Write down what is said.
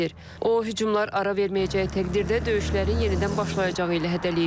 O, hücumlar ara verməyəcəyi təqdirdə döyüşlərin yenidən başlayacağı ilə hədələyib.